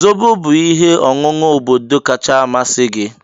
Zobo bụ ihe ọṅụṅụ obodo kacha amasị gị.